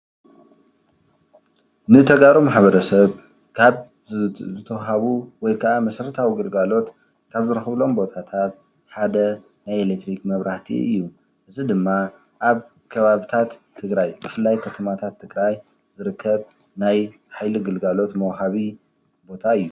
ንተጋሩ ማሕበረሰብ ካብ ዝተዋሃቡ ወይከኣ መሰረታዊ ግልጋሎት ካብ ዝረኽቡሎም ቦታታት ሓደ ናይ ኤሌክትሪክ መብራህቲ እዩ፡፡ እዚ ድማ ኣብ ከባብታት ትግራይ ብፍላይ ከተማታት ትግራይ ዝርከብ ናይ ሓይሊ ግልጋሎት መውሃቢ ቦታ እዩ፡፡